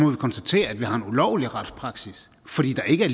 vi konstatere at vi har en ulovlig retspraksis fordi der ikke er